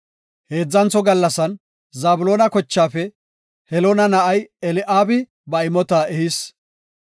Heedzantho gallasan Zabloona kochaafe Heloona na7ay Eli7aabi ba imota ehis.